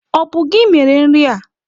Ọ bụ gị mere nri a?